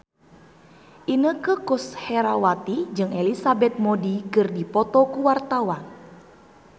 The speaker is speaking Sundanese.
Inneke Koesherawati jeung Elizabeth Moody keur dipoto ku wartawan